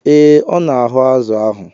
Ee, ọ na-ahu azu ahụ.